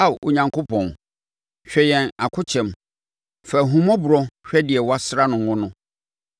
Ao Onyankopɔn, hwɛ yɛn akokyɛm; fa ahummɔborɔ hwɛ deɛ woasra no ngo no.